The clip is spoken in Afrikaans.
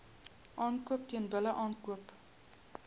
aankoop teelbulle aankoop